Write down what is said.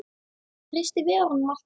Treysti Viðar honum alltaf?